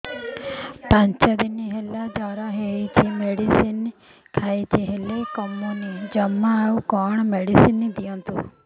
ପାଞ୍ଚ ଦିନ ହେଲା ଜର ହଉଛି ମେଡିସିନ ଖାଇଛି ହେଲେ କମୁନି ଜମା ଆଉ କଣ ମେଡ଼ିସିନ ଦିଅନ୍ତୁ